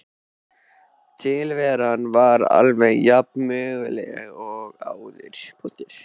Tilveran var alveg jafnömurleg og áður.